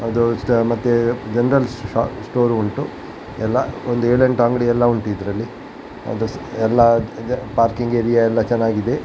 ಅದು ಅಷ್ಟ ಮತ್ತೆ ಜೆನೆರಲ್ ಸ್ಟೋರ್ ಉಂಟು ಎಲ್ಲ ಒಂದ್ ಏಳು ಎಂಟು ಅಂಗಡಿ ಎಲ್ಲ ಉಂಟು ಇದರಲ್ಲಿ ಅದು ಎಲ್ಲ ಪಾರ್ಕಿಂಗ್ ಏರಿಯಾ ಎಲ್ಲ ಚೆನ್ನಾಗಿದೆ.